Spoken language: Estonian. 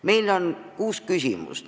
Meil on kuus küsimust.